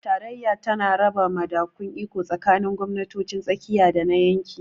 Tarayya tana raba madafun iko tsakanin gwamnatocin tsakiya da na yanki.